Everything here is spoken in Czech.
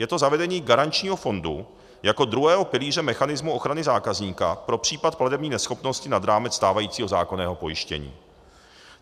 Je to zavedení garančního fondu jako druhého pilíře mechanismu ochrany zákazníka pro případ platební neschopnosti nad rámec stávajícího zákonného pojištění.